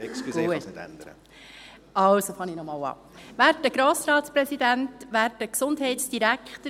Sie müssen nun als Barbara Mühlheim sprechen, und Sie, Barbara Mühlheim, sprechen nachher als Madeleine Graf-Rudolf.